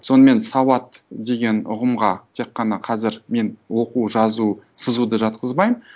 сонымен сауат деген ұғымға тек қана қазір мен оқу жазу сызуды жатқызбаймын